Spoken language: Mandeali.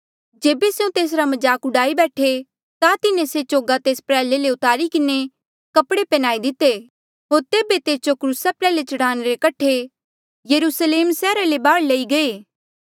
जेबे स्यों तेसरा मजाक डूआई बैठे ता तिन्हें से चोगा तेस प्रयाल्हे ले तुआरी किन्हें कपड़े पन्हयाई दिते होर तेबे तेस जो क्रूसा प्रयाल्हे चढ़ाणे रे कठे यरुस्लेम सैहरा ले बाहर लई गये